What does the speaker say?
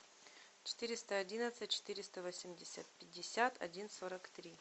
четыреста одиннадцать четыреста восемьдесят пятьдесят один сорок три